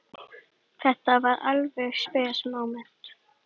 Þetta var alveg spes móment.